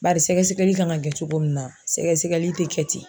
Bari sɛgɛsɛgɛli kan ka kɛ cogo min na sɛgɛsɛgɛli tɛ kɛ ten.